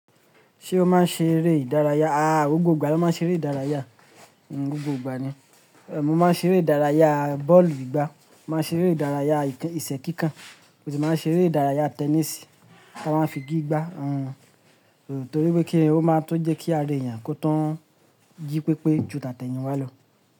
Ṣé o máa ń ṣeré ìdárayá? Aà ó gbogbo ìgbà ní máa ń ṣeré ìdárayá, gbogbo ìgbà ni. Mo máa ń ṣeré ìdárayá bọ́ọ̀lù gbígbá, mo máa ń ṣeré ìdárayá ìṣẹ́ kíkàn, mo sì máa ń ṣeré ìdárayá tẹníìsì, a máa ń figí gbá, torí pé kíni ó máa ń tún jẹ́ kí ara èèyàn kó tùn jí pépé ju tàtẹ̀yìn wá lọ.